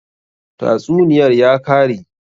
Tatsuniyar ya kare?